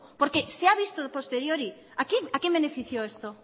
porque se ha visto a posteriori a quién benefició esto